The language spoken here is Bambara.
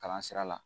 Kalan sira la